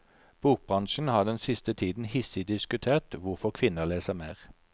Bokbransjen har den siste tiden hissig diskutert hvorfor kvinner leser mer.